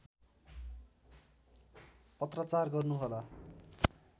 पत्राचार गर्नुहोला